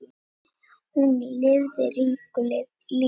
Hún lifði ríku lífi.